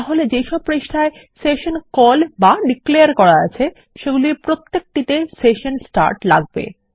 তাহলে যেসব পৃষ্ঠায় সেশন কল বা ডিক্লেয়ার করা আছে সেগুলির প্রত্যেকটিতে সেশন স্টার্ট লাগবে